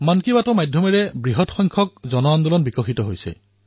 মন কী বাতৰ মাধ্যমৰ জৰিয়তে জন আন্দোলনত শক্তি বৃদ্ধি হৈছে